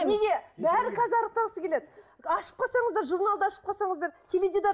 неге бәрі қазір арықтағысы келеді ашып қалсаңыздар журналды ашып қалсаңыздар теледидар